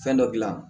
Fɛn dɔ gilan